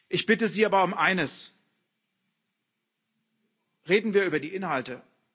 Ich bitte Sie aber um eines Reden wir über die Inhalte!